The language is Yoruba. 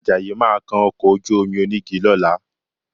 Àjàyí máa kan ọkọ̀ ojú-omi onígi lọ́la